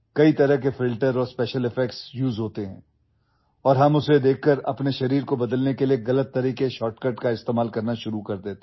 Many types of filters and special effects are used and after seeing them, we start using wrong shortcuts to change our body